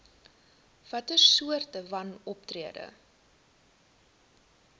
watter soorte wanoptrede